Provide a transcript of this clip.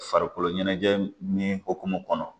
Farikolo ɲɛnajɛ ni hokumu kɔnɔ